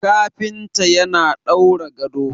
kafinta yana daura gado